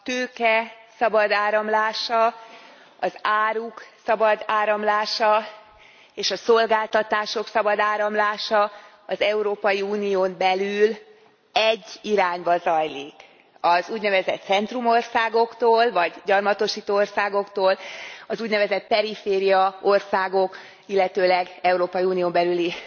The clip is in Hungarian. A tőke szabad áramlása, az áruk szabad áramlása, és a szolgáltatások szabad áramlása az Európai Unión belül egy irányba zajlik, az úgynevezett centrumországoktól, vagy gyarmatosító országoktól az úgynevezett perifériaországok, illetőleg Európai Unión belüli